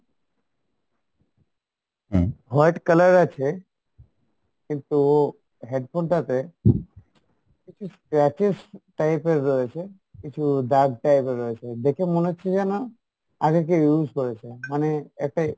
white colour আছে কিন্তু headphone টাতে কিছু scratches type এর রয়েছে কিছু দাগ type এর রয়েছে দেখে মনে হচ্ছে যেনো আগে কে use করেছে মানে একটা